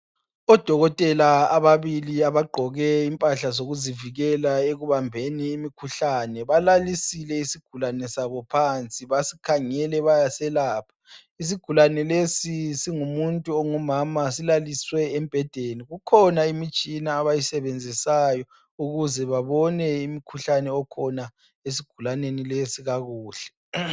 Odokotela ababili, abagqoke impahla zokuzivikela ekubambeni imkhuhlane balalisile isgulane sabo phansi basikhangele bayaselapha. Isigulane lesi, singumuntu omama, silaliswe embhedeni. Kukhona imtshina abayisebenzisayo ukuze babone imkhuhlane okhona esgulaneni lesi kakuhle.